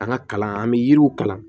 An ka kalan an bɛ yiriw kalan